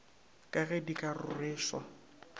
ka ge di ka rweša